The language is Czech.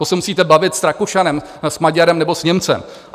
To se musíte bavit s Rakušanem, s Maďarem nebo s Němcem.